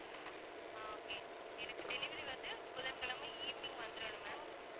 ஆஹ் okay எனக்கு delivery வந்து புதன்கிழமை evening வந்திரணும் ma'am